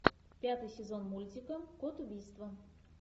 пятый сезон мультика код убийства